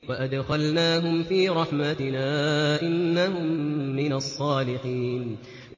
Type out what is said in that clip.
وَأَدْخَلْنَاهُمْ فِي رَحْمَتِنَا ۖ إِنَّهُم مِّنَ الصَّالِحِينَ